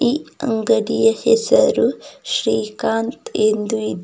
ಈ ಅಂಗಡಿಯ ಹೆಸರು ಶ್ರೀಕಾಂತ್ ಎಂದು ಇದೆ.